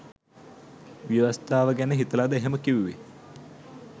ව්‍යවස්ථාව ගැන හිතලද එහෙම කිව්වේ?